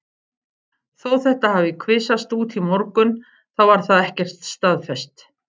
Þó þetta hafi kvisast út í morgun þá var það ekkert staðfest.